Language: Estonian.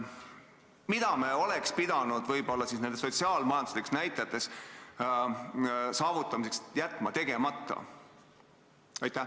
Mida me oleks pidanud võib-olla nende sotsiaal-majanduslike näitajate saavutamiseks jätma tegemata?